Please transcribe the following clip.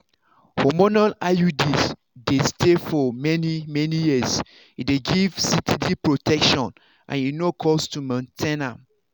hormonal iuds dey stay for many-many years. e dey give steady protection and e no cost to maintain am.